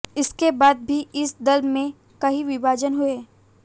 इसके बाद भी इस दल में कई विभाजन हुये